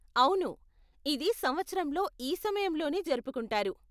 అవును, ఇది సంవత్సరంలో ఈ సమయంలోనే జరుపుకుంటారు.